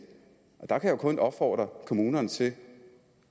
der kan jeg jo kun opfordre kommunerne til